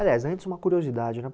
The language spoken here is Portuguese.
Aliás, antes uma curiosidade, né?